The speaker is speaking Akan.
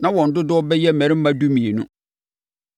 Na wɔn dodoɔ bɛyɛ mmarima dumienu.